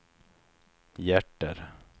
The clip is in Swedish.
hjärter